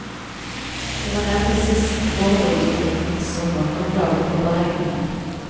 Det var nemlig sist foreliggende ligning som var grunnlaget for beregningen.